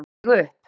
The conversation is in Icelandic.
Skar sig upp